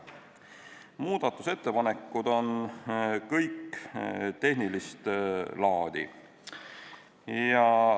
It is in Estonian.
Kõik muudatusettepanekud on tehnilist laadi.